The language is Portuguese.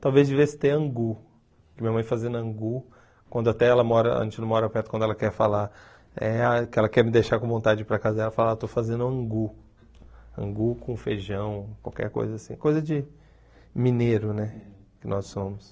Talvez de vez ter angu, que minha mãe fazendo angu, quando até ela mora, a gente não mora perto, quando ela quer falar, eh que ela quer me deixar com vontade para casa dela, ela fala, ah estou fazendo angu, angu com feijão, qualquer coisa assim, coisa de mineiro, né, que nós somos.